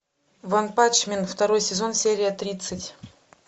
ванпанчмен второй сезон серия тридцать